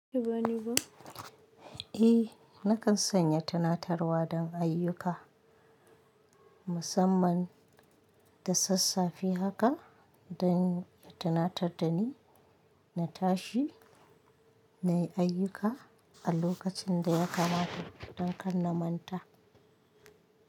Eh nakan sanya tanatarwa don ayyuka musamman da sassafe haka dan ya tunatar dani na tashi na yi ayyuka a lokacin da ya kamata don kan na manta.